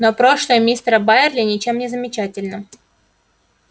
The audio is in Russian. но прошлое мистера байерли ничем не замечательно